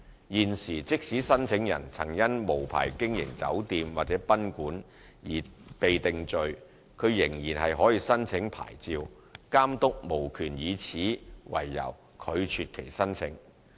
現時，即使申請人曾因無牌經營酒店或賓館而被定罪，他仍可申請牌照，監督無權以此為由拒絕其申請。